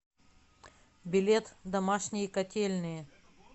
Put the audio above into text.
билет домашние котельные